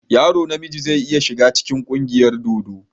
Yaro na miji zai iya shiga cikin ƙungiyar dodo.